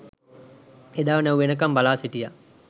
එදා නැව් එනකම් බලා සිටියා